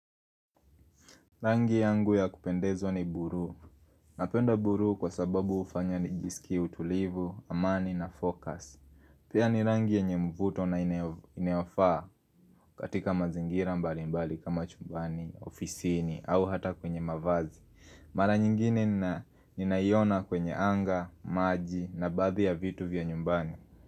Rangi yangu ya kupendezo ni buru, napenda buru kwa sababu ufanya nijisiki utulivu, amani na fokus Pia ni rangi enye mvuto na iniafaa katika mazingira mbali mbali kama chumbani, ofisini au hata kwenye mavazi Mara nyingine ni ninaiona kwenye anga, maji na badhi ya vitu vya nyumbani.